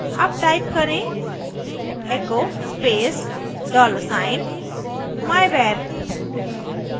अब type करें echo space dollar sign myvar